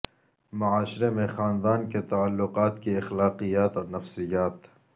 معاشرے میں خاندان کے تعلقات کی اخلاقیات اور نفسیات